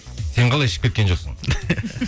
сен қалай ішіп кеткен жоқсың